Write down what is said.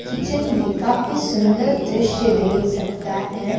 Kitchen में काफी सुंदर दृश्य देख सकता है।